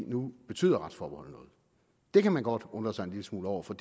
nu betyder retsforbeholdet noget det kan man godt undre sig en lille smule over for